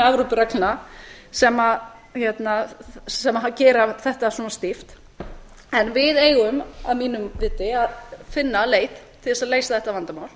evrópureglna sem gera þetta svona stíft en við eigum að mínu viti að finna leið til þess að leysa þetta vandamál